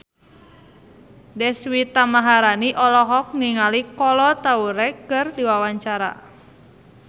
Deswita Maharani olohok ningali Kolo Taure keur diwawancara